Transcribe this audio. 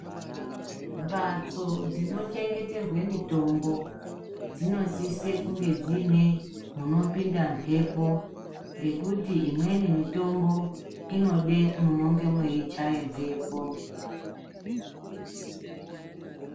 Mbatso dzinochengeterwa mitombo dzinosise kunge dziine munopinda mhepo ngekuti imweni mitombo inoda munenge mechaya mbepo .